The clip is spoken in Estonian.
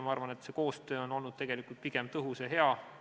Ma arvan, et koostöö on olnud pigem tõhus ja hea.